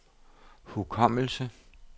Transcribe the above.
hukommelse